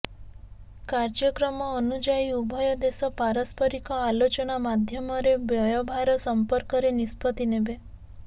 କାର୍ଯ୍ୟକ୍ରମ ଅନୁଯାୟୀ ଉଭୟ ଦେଶ ପାରସ୍ପରିକ ଆଲୋଚନା ମାଧ୍ୟମରେ ବ୍ୟୟଭାର ସମ୍ପର୍କରେ ନିଷ୍ପତ୍ତି ନେବେ